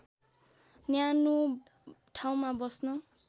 न्यानो ठाउँमा बस्न